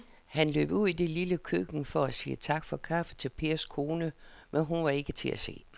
Han løb ud i det lille køkken for at sige tak for kaffe til Pers kone, men hun var ikke til at se.